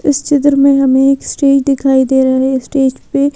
इस चिद्र में हमें एक स्टेज दिखाई दे रहे हैं स्टेज पर--